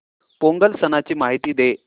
पोंगल सणाची माहिती दे